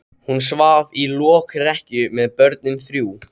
Hún svaf í lokrekkju með börnin þrjú.